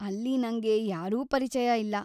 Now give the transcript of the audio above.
ಅಲ್ಲಿ ನಂಗೆ ಯಾರೂ ಪರಿಚಯ ಇಲ್ಲ.